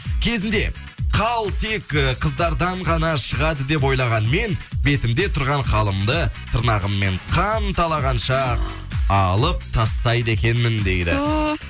кезінде қал тек э қыздардан ғана шығады деп ойлаған мен бетімде тұрған қалымды тырнағыммен қан талағанша алып тастайды екенмін дейді туф